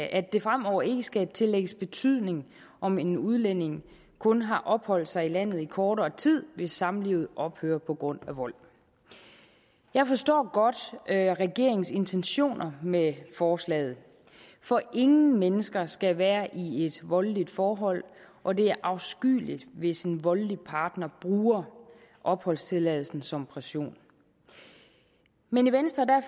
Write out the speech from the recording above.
at det fremover ikke skal tillægges betydning om en udlænding kun har opholdt sig i landet i kortere tid hvis samlivet ophører på grund af vold jeg forstår godt regeringens intentioner med forslaget for ingen mennesker skal være i et voldeligt forhold og det er afskyeligt hvis en voldelig partner bruger opholdstilladelsen som pression men i venstre